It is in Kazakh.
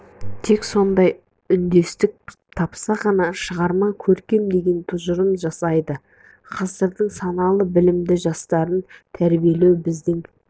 тек сондай үндестік тапса ғана шығарма көркем деген тұжырым жасайды ғасырдың саналы білімді жастарын тәрбиелеу біздің